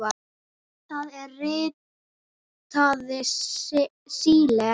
Það er ritað Síle.